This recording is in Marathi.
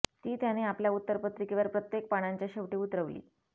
ती त्याने आपल्या उत्तरपत्रिकेवर प्रत्येक पानांच्या शेवटी उतरवली